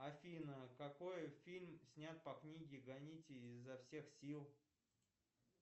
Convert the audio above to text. афина какой фильм снят по книге гоните изо всех сил